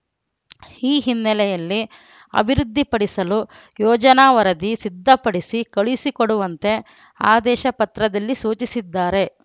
ಈ ಹಿನ್ನೆಲೆಯಲ್ಲಿ ಅಭಿವೃದ್ಧಿಪಡಿಸಲು ಯೋಜನಾ ವರದಿ ಸಿದ್ದಪಡಿಸಿ ಕಳುಸಿಕೊಡುವಂತೆ ಆದೇಶ ಪತ್ರದಲ್ಲಿ ಸೂಚಿಸಿದ್ದಾರೆ